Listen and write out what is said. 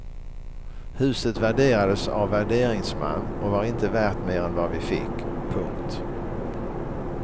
Huset värderades av värderingsman och var inte värt mer än vad vi fick. punkt